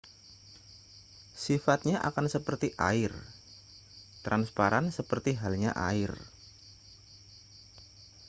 sifatnya akan seperti air transparan seperti halnya air